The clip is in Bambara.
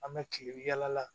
An bɛ kile yala